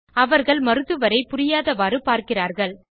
அவர்கள் மருத்துவரை புரியாதவாறு பார்க்கிறார்கள்